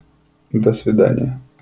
до свидания